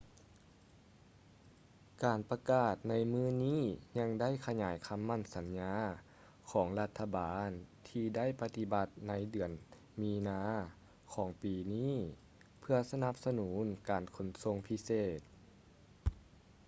ການປະກາດໃນມື້ນີ້ຍັງໄດ້ຂະຫຍາຍຄໍາໝັ້ນສັນຍາຂອງລັດຖະບານທີ່ໄດ້ປະຕິບັດໃນເດືອນມີນາຂອງປີນີ້ເພື່ອສະໜັບສະໜູນການຂົນສົ່ງພິເສດ